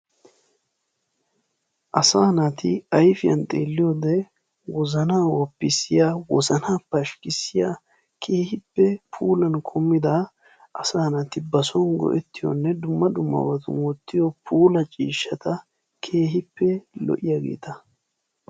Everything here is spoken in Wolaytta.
Asaa naati ayfiyan xeelliyode wozana woppisiyaa wozana pashkisiyaa keehippe puulan kumida asaa naati ba Soni go'ettiyonne dumma dumma sohuwan wottiyo puula ciishshata keehippe lo'iyagetta.